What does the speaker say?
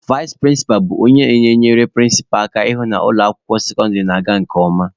Vais prịnsịpa bụ onye na-enyere prịnsịpa aka ịhụ na ụlọ akwụkwọ sekọndịrị na-aga nke ọma.